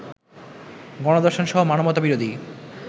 গণধর্ষণ সহ মানবতাবিরোধী